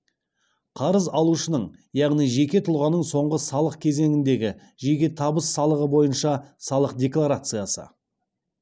қарыз алушының яғни жеке тұлғаның соңғы салық кезеңіндегі жеке табыс салығы бойынша салық декларациясы